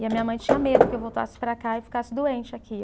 E a minha mãe tinha medo que eu voltasse para cá e ficasse doente aqui.